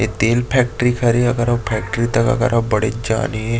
ऐ तेल फैक्ट्री हरे अऊ फैक्ट्री अऊ अगर फैक्ट्री तक अगर ह बड़े ज जान हे।